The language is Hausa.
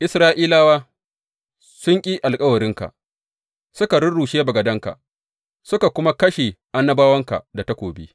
Isra’ilawa sun ƙi alkawarinka, suka rurrushe bagadanka, suka kuma kashe annabawanka da takobi.